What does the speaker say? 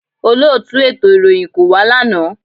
Olóòtù ètò ìròyìn kò wá lánàá